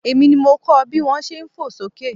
Èmi ni mo kọ bí wón ṣe fò sókè.